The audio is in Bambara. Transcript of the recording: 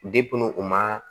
u ma